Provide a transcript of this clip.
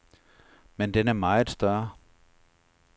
Men den er meget større.